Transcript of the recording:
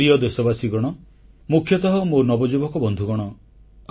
ମୋର ପ୍ରିୟ ଦେଶବାସୀଗଣ ମୁଖ୍ୟତଃ ମୋ ନବଯୁବକ ବନ୍ଧୁଗଣ